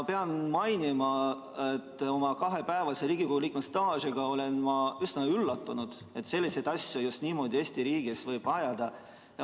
Pean mainima, et oma kahepäevase Riigikogu liikme staažiga olen ma üsna üllatunud, et selliseid asju niimoodi Eesti riigis võib ajada.